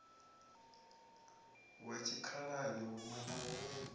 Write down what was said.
wa tshikhalani huṋwe na huṋwe